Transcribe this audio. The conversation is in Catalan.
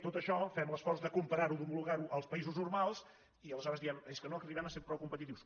tot això fem l’esforç de comparar·ho d’homolo·gar·ho als països normals i aleshores diem és que no arribem a ser prou competitius